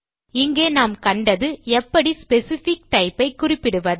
இங்கே நாம் கண்டது எப்படி ஸ்பெசிஃபிக் டைப் ஐ குறிப்பிடுவது